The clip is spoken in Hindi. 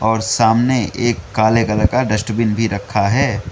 और सामने एक काले कलर का डस्टबिन भी रखा है।